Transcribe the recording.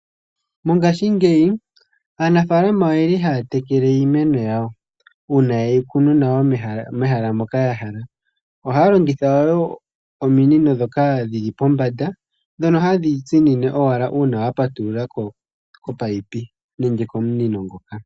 Mongaashingeyi aanafalama oye li haya tekele iimeno yawo, uuna yeyi kunu nawa mehala moka yahala. Ohaya longitha ominino ndhoka dhi li pombanda, ndhono hadhi tsimine owala uuna wapatululako komunino ngoka.